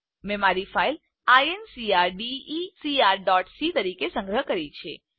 મેં મારી ફાઈલ incrdecrસી તરીકે સંગ્રહ કરી છે